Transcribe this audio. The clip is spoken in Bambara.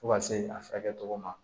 Fo ka se a furakɛ cogo ma